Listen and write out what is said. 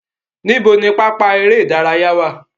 Níbo ni pápá eré ìdárayá wà?